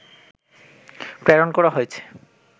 প্রেরণ করা হয়েছে